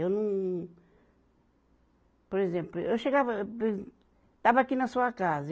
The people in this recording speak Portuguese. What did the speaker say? Eu não Por exemplo, eu chegava Estava aqui na sua casa.